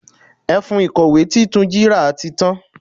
Ẹfun ìkọ̀wé tí Túnjí ra tí tan.